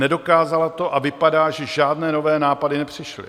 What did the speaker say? Nedokázala to a vypadá, že žádné nové nápady nepřišly.